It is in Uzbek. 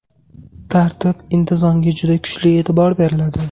Tartib, intizomga juda kuchli e’tibor beriladi.